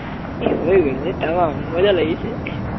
এই হৈ গল বে তামাম মজা লাগিছে